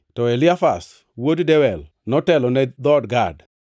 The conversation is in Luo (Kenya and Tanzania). to Eliasaf wuod Dewel notelo ne dhood Gad.